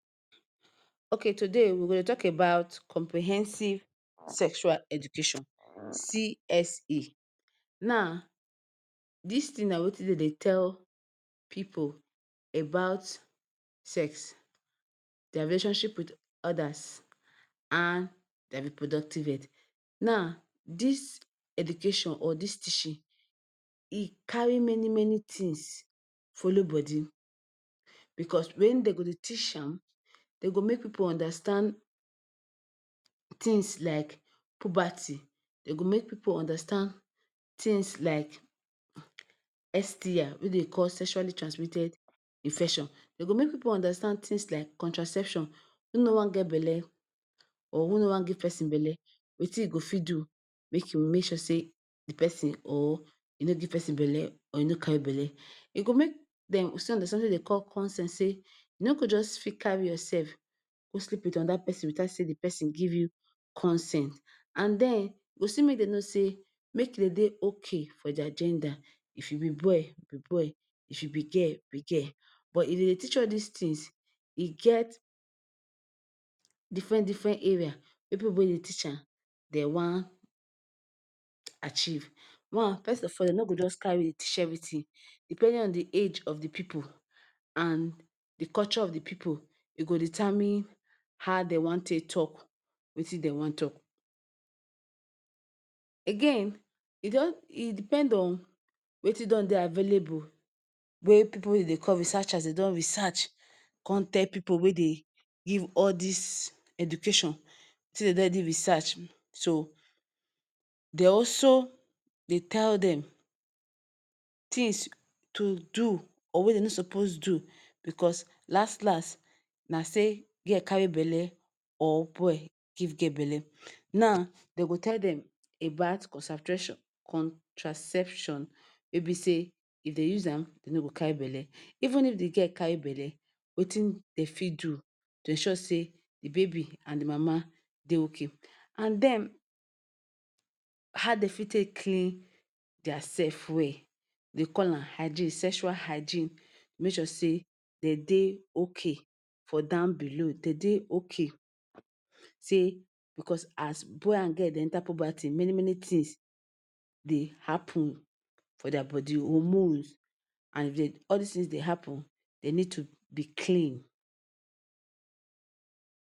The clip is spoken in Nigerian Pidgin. Okay today we go dey tok about comprehensive sexual education CSE Now, dis tin na wetin dem dey tell pipu about sex, dia relationship wit odas, and dia reproductive health. Now, dis education or dis teaching, e carry many many tins follow body bicos wen dem go dey teach am dey go make pipu understand tins like puberty, dem go make pipu understand tins like STI, wey dem dey call sexually transmitted infection. Dem go make pipu understand tins like contraception, who know and get belle or who no wan give pesin belle, wetin im go fit do make im sure say di pesin or e no give pesin belle or e no carry belle. E go make dem understand somtin wey dem dey call consent say, you no go just carry yourself go sleep wit anoda pesin witout say di pesin give you consent and den, you still make dem know say, make e dey okay for dia gender. If you be boy be boy, if you be girl, be girl. But if dem dey teach all dis tins, e get diffren diffren areas wey pipu wey dey teach am dem wan achieve. One, first of all you no go just carry teach evritin, depending on di age of di pipu and di culture of di pipu e go determine how dem wan take tok, wetin dem wan tok. Again e don e depend on wetin don dey available wey pipu dey dey call researchers dey don research, come tell pipu wey dey give all dis education say dem don already research, so dem also dey tell dem tins to do or wey dem no suppose do, bicos last last na say girl carry belle or boy give girl belle. Now dem go tell dem, about contraception wey be say if dem use am you no go carry belle. Even if di girl carry belle, wetin dem fit do to ensure say di baby and di mama dey okay. And den how dem fit take clean dia sef well, dem dey call am hygiene, sexual hygiene. Make sure say dem dey okay for down below, dem dey okay say bicos as boy and girl dey enta puberty, many many tins dey happun for dia body hormones, and if all dis tin dey happun, dem need to be clean.